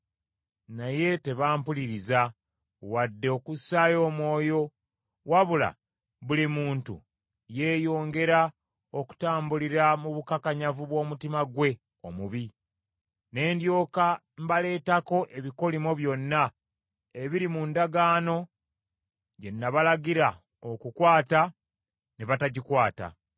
Naye tebampuliriza wadde okussaayo omwoyo, wabula buli muntu yeeyongera okutambulira mu bukakanyavu bw’omutima gwe omubi. Ne ndyoka mbaleetako ebikolimo byonna ebiri mu ndagaano gye nabalagira okukwata ne batagikwata.’ ”